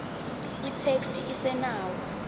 itheksthi isenawo